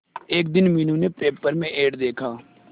एक दिन मीनू ने पेपर में एड देखा